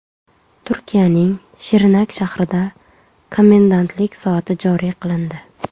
Turkiyaning Shirnak shahrida komendantlik soati joriy qilindi.